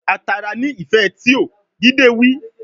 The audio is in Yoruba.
A tara ni ife tio, dide wi